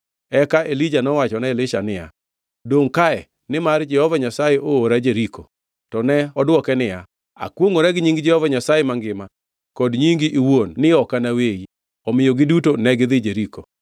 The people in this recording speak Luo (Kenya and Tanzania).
Eka Elija nowachone Elisha niya, dongʼ kae, nimar Jehova Nyasaye oora Jeriko. To ne odwoke niya, “Akwongʼora gi nying Jehova Nyasaye mangima kod nyingi iwuon ni ok anaweyi.” Omiyo giduto negidhi Jeriko.